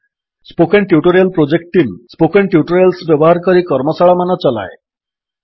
spoken tutorial project team spoken tutorials ବ୍ୟବହାର କରି କର୍ମଶାଳାମାନ ଚଲାଏ